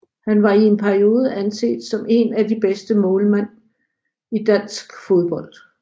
Han var i en periode anset som en af de bedste målmænd i dansk fodbold